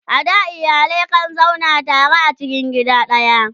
a da iyalai kan zauna tare a cikin gida daya